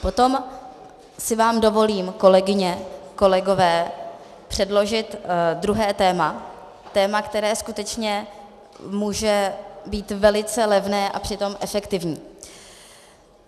Potom si vám dovolím, kolegyně, kolegové, předložit druhé téma, téma, které skutečně může být velice levné a přitom efektivní.